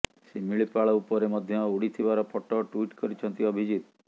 ସିମିଳିପାଳ ଉପରେ ମଧ୍ୟ ଉଡିଥିବାର ଫଟୋ ଟ୍ବିଟ୍ କରିଛନ୍ତି ଅଭିଜିତ୍